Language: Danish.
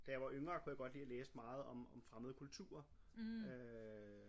Da jeg var yngre kunne jeg godt lide at læse meget om om fremmede kulturer øh